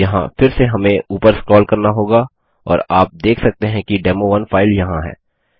यहाँ फिर से हम ऊपर स्क्रोल करना होगा और आप देख सकते हैं कि डेमो1 फाइल यहाँ है